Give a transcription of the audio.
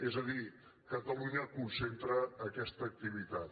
és a dir catalu·nya concentra aquesta activitat